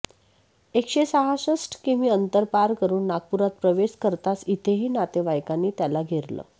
एकशे सहासष्ठ किमी अंतर पार करून नागपुरात प्रवेश करताच इथेही नातेवाइकांनी त्याला घेरलं